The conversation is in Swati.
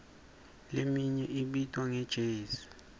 leminye ibitwa nge jezi